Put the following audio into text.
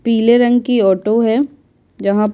पीले रंग की ऑटो है जहाँ प --